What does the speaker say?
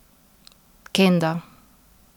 Kenda.